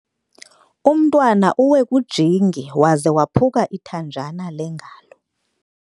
Umntwana uwe kujingi waze waphuka ithanjana lengalo.